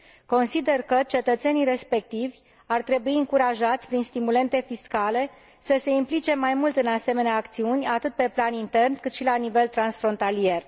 Consider că cetățenii respectivi ar trebui încurajați prin stimulente fiscale să se implice mai mult în asemenea acțiuni, atât pe plan intern, cât și la nivel transfrontalier.